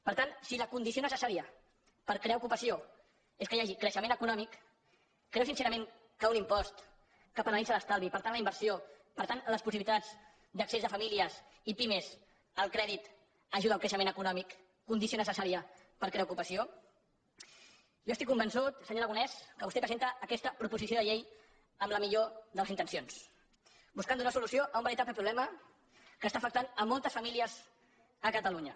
per tant si la condició necessària per a crear ocupació és que hi hagi creixement econòmic creu sincerament que un impost que penalitza l’estalvi i per tant la inversió per tant les possibilitats d’accés de famílies i pimes al crèdit ajuda al creixement econòmic condició necessària per a crear ocupació jo estic convençut senyor aragonès que vostè presenta aquesta proposició de llei amb la millor de les intencions buscant donar solució a un veritable problema que afecta moltes famílies a catalunya